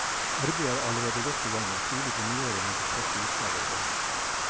Arbeidet er allerede godt i gang, og tidlig på nyåret ventes første utgave å foreligge.